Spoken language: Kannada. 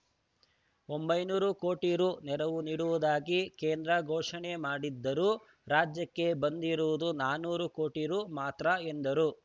ಒಂಬೈನೂರು ಕೋಟಿ ರೂ ನೆರವು ನೀಡುವುದಾಗಿ ಕೇಂದ್ರ ಘೋಷಣೆ ಮಾಡಿದ್ದರೂ ರಾಜ್ಯಕ್ಕೆ ಬಂದಿರುವುದು ನಾನೂರು ಕೋಟಿ ರೂ ಮಾತ್ರ ಎಂದರು